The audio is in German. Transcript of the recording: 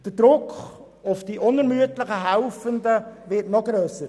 Der Druck auf die unermüdlichen Helfenden wird noch grösser.